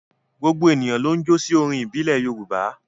Gbogbo ènìyàn ló ń jó sí orin ìbílẹ̀ Yorùbá.